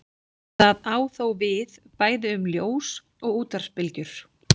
Það á þó við bæði um ljós og útvarpsbylgjur.